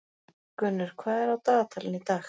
Gunnur, hvað er á dagatalinu í dag?